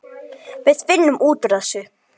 Við finnum út úr þessu.